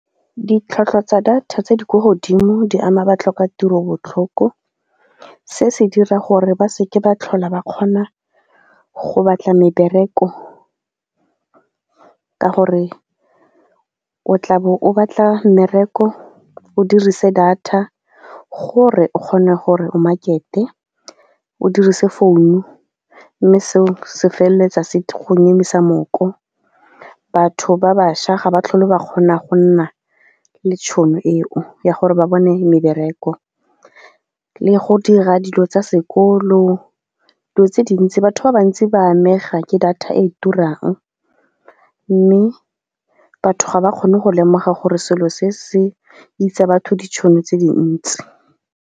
Ditlhwatlhwa tsa data tse di kwa godimo di ama batlhokatiro botlhoko, se se dira gore ba se ke ba tlhola ba kgona go batla mebereko ka gore o tla bo o batla mmereko, o dirise data gore o kgone gore o market-e, o dirise founu, mme seo se feleletsa se go nyemisa mooko. Batho ba bašwa ga ba tlhole ba kgona go nna le tšhono eo ya gore ba bone mebereko le go dira dilo tsa sekolo. Dilo tse dintsi batho ba bantsi ba amega ke data e turang mme batho ga ba kgone go lemoga gore selo se se itsa batho ditšhono tse dintsi.